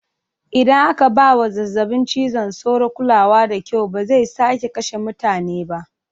Idan aka ba wa zazzabin cizon sauro kulawa da kyau, ba zai sake kashe mutane ba.